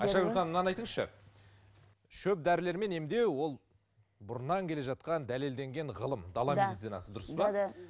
айшагүл ханым мынаны айтыңызшы шөп дәрілермен емдеу ол бұрыннан келе жатқан дәлелденген ғылым дала медицинасы дұрыс па